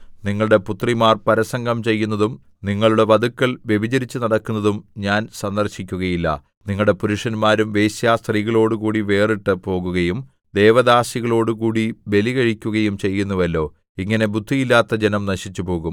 നിങ്ങളുടെ പുത്രിമാർ പരസംഗം ചെയ്യുന്നതും നിങ്ങളുടെ വധുക്കൾ വ്യഭിചരിച്ചുനടക്കുന്നതും ഞാൻ സന്ദർശിക്കുകയില്ല നിങ്ങളുടെ പുരുഷന്മാരും വേശ്യാസ്ത്രീകളോടുകൂടി വേറിട്ട് പോകുകയും ദേവദാസികളോടുകൂടി ബലി കഴിക്കുകയും ചെയ്യുന്നുവല്ലോ ഇങ്ങനെ ബുദ്ധിയില്ലാത്ത ജനം നശിച്ചുപോകും